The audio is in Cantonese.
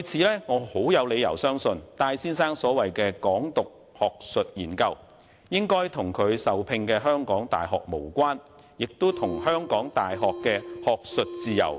因此，我有理由相信，戴先生所謂的"港獨"學術研究與其僱主港大無關，亦不涉港大的學術自由。